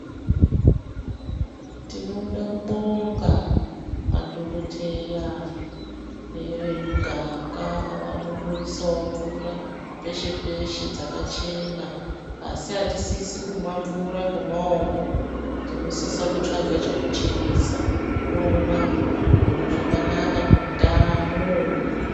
Tinoda kubinga madhokodheya nevemuganga vanondoisao mvura peshe peshe dzakachena asi atisisi kumwa mvura ngomaoko tinosisa kutsvaga chekucheresa tomwa zvirozvo zvakanaka muutano.